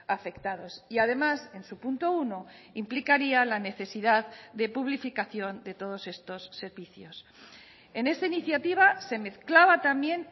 afectados y además en su punto uno implicaría la necesidad de publificación de todos estos servicios en esa iniciativa se mezclaba también